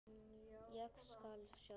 Ég skal sjálf.